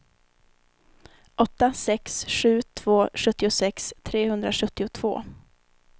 åtta sex sju två sjuttiosex trehundrasjuttiotvå